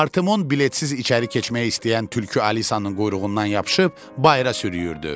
Artemon biletsiz içəri keçmək istəyən tülkü Alisanın quyruğundan yapışıb bayıra sürüyürdü.